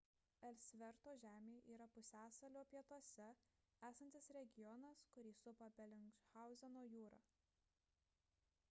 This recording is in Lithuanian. elsverto žemė yra pusiasalio pietuose esantis regionas kurį supa belingshauzeno jūra